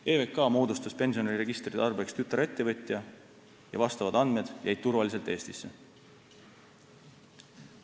EVK moodustas pensioniregistri tarbeks tütarettevõtja ja vastavad andmed jäid turvaliselt Eestisse.